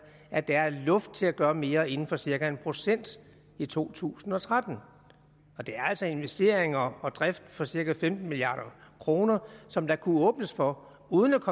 at der er luft til at gøre mere inden for cirka en procent i to tusind og tretten det er altså investeringer og drift for cirka femten milliard kr som der kunne åbnes for uden at